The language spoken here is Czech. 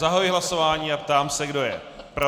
Zahajuji hlasování a ptám se, kdo je pro.